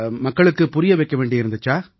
மக்களுக்குப் புரிய வைக்க வேண்டியிருந்திச்சா